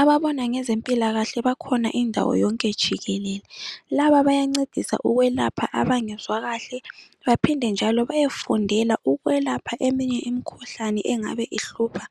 Ababona ngezempilakahle bakhona indawo yonke jikelele. Laba bayancedisa ukwelapha abangezwa kahle baphinde njalo beyefundela ukwelapha eminye imikhuhlane engabe ihlupha